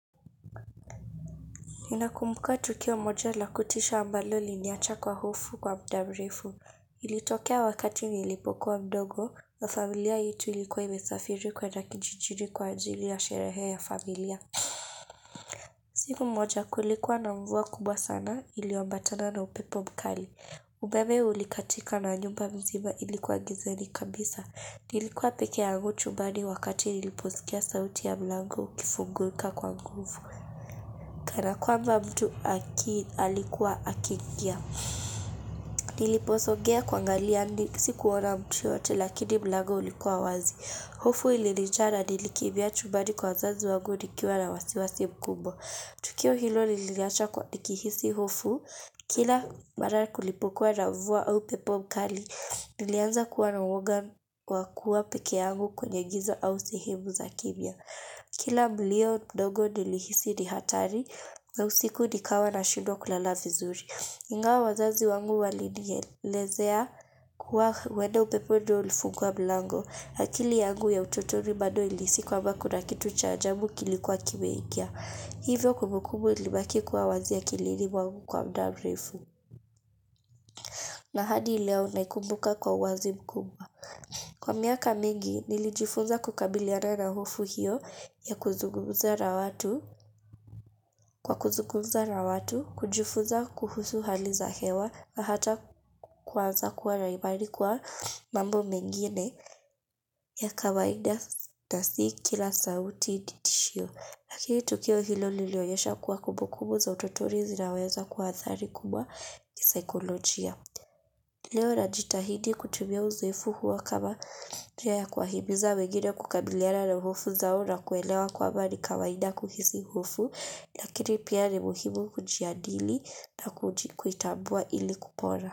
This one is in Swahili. Ninakumbuka tukio moja la kutisha ambalo liliniacha kwa hofu kwa muda mrefu. Ilitokea wakati nilipokuwa mdogo na familia yetu ilikuwa imesafiri kwenda kijijini kwa ajili ya sherehe ya familia. Siku moja kulikuwa na mvua kubwa sana iliyoambatana na upepo mkali. Umeme ulikatika na nyumba mzima ilikuwa gizani kabisa. Nilikuwa pekee yangu chumbani wakati niliposikia sauti ya mlango ukifunguka kwa nguvu. Kana kwamba mtu alikuwa akiingia. Niliposogea kuangalia, sikuona mtu yote lakini mlango ulikuwa wazi. Hofu ililinijaa nilikimbia chumbani kwa wazazi wangu nikiwa na wasiwasi mkubwa. Tukio hilo liliniacha kwa nikihisi hofu. Kila mara kulipokuwa na mvua au mpepo mkali, nilianza kuwa na uoga wa kua pekee yangu kwenye giza au sehemu za kimya. Kila mlio mdogo nilihisi ni hatari na usiku nikawa nashindwa kulala vizuri. Ingawa wazazi wangu walinielezea kuwa huenda upepo ndo ulifungua mlango. Akili yangu ya utotoni bado ilihisi kwamba kuna kitu cha ajabu kilikuwa kimeingia. Hivyo kumbukubu ilibaki kuwa wazi akilini mwangu kwa muda mrefu. Na hadi leo naikumbuka kwa uwazi mkubwa. Kwa miaka mingi, nilijifunza kukabiliana na hofu hiyo kwa kuzungumza na watu, kujifunza kuhusu hali za hewa, na hata kuanza kuwa na imani kuwa mambo mengine ya kawaida na si kila sauti ni tishio. Lakini tukio hilo lilinionyesha kuwa kumbukumbu za utotoni zinaweza kuwa athari kubwa kisaikolojia. Leo na jitahidi kutumia uzoefu huo kama njiaa kuwahimiza wengine kukabiliana na hofu zao na kuelewa kwamba ni kawaida kuhisi hofu. Lakini pia ni muhimu kujiadili na kuitambua ili kupona.